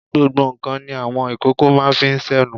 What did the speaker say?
Gbogbo ǹkan ni àwọn ìkókó máa ń fi sẹ́nu.